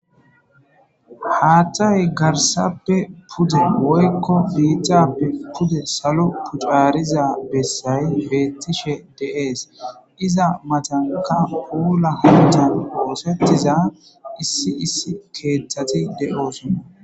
Haththay gaarssappe puude woykko biittappe puude saalo caariza bessay beetishshe de'ess iizz mattanikka puula hannotan ossetiza issi issi keththati de'ossona.